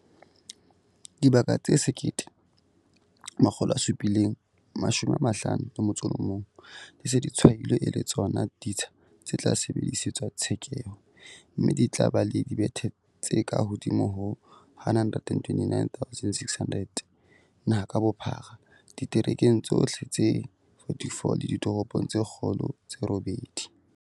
Dibaka tse 1 751 di se di tshwailwe e le tsona ditsha tse tla sebedisetswa tshekeho, mme di tla ba le dibethe tse kahodimo ho 129 600 naha ka bophara, diterekeng tsohle tse 44 le ditoropong tse kgolo tse robedi.